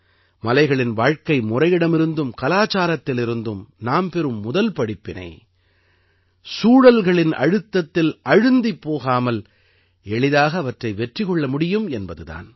மலைகளின் வாழ்க்கைமுறையிடமிருந்தும் கலாச்சாரத்திலிருந்தும் நாம் பெறும் முதல் படிப்பினை சூழல்களின் அழுத்தத்தில் அழுந்திப் போகாமல் எளிதாக அவற்றை வெற்றி கொள்ள முடியும் என்பது தான்